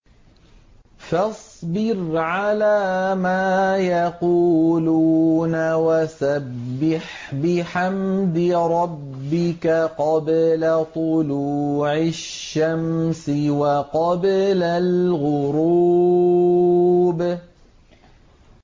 فَاصْبِرْ عَلَىٰ مَا يَقُولُونَ وَسَبِّحْ بِحَمْدِ رَبِّكَ قَبْلَ طُلُوعِ الشَّمْسِ وَقَبْلَ الْغُرُوبِ